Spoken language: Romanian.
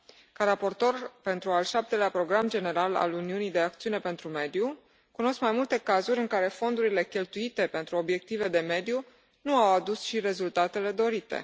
Ca raportor pentru al șaptelea program general al Uniunii de acțiune pentru mediu, cunosc mai multe cazuri în care fondurile cheltuite pentru obiective de mediu nu au adus și rezultatele dorite.